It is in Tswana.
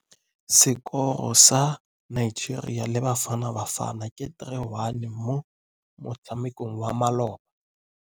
Sekôrô sa Nigeria le Bafanabafana ke 3-1 mo motshamekong wa malôba.